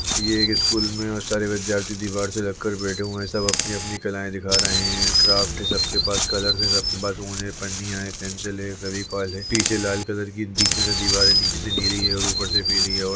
ये एक स्कूल में बहुत से विद्यार्थी दीवार से लग कर बैठे हुए है सब अपनी- अपनी कलाएँ दिखा रहे है क्राफ्ट है सबके पास कलर्स है सबके पास ऊन है पन्नियाँ है पेंसिल है पीछे लाल कलर की बीच में से दीवारें नीचे से नीली है और ऊपर से पीली है और --